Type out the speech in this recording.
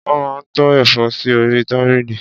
Wọ́n máa ń tó ẹ̀fọ́ sí orí tábìlì.